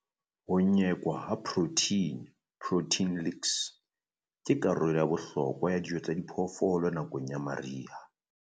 Ho nyekwa ha protheine, protein licks, ke karolo ya bohlokwa ya dijo tsa phoofolo nakong ya mariha.